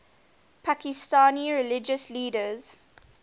pakistani religious leaders